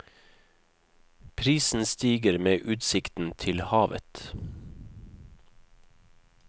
Prisen stiger med utsikten til havet.